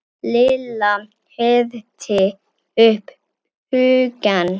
Lilla herti upp hugann.